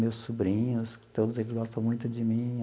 Meus sobrinhos, todos eles gostam muito de mim.